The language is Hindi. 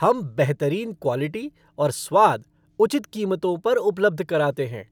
हम बेहतरीन क्वॉलिटी और स्वाद उचित कीमतों पर उपलब्ध कराते हैं।